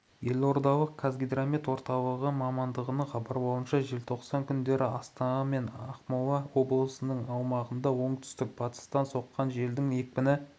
елордалық қазгидромет орталығы мамандарының хабарлауынша желтоқсан күндері астанада және ақмола облысының аумағында оңтүстік-батыстан соққан желдің екпіні